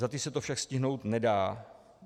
Za ty se to však stihnout nedá.